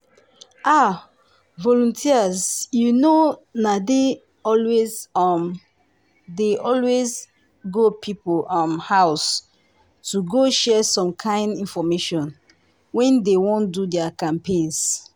ah! volunteers you know na dey always um dey always um go people um house to go share some kind infomation when dey wan do their campaigns.